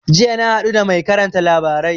Jiya na haɗu da mai karanta labarai